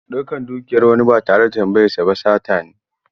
Ɗaukan dukiyar wani ba tare da tambayarsa ba sata ne.